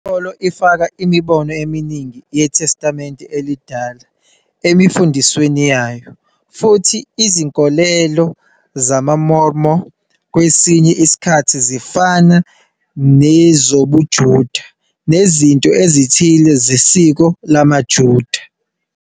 Inkolo ifaka imibono eminingi yeTestamente Elidala emfundisweni yayo, futhi izinkolelo zamaMormon kwesinye isikhathi zifana nezobuJuda nezinto ezithile zesiko lamaJuda.